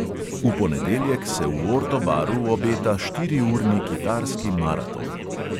V ponedeljek se v orto baru obeta štiriurni kitarski maraton.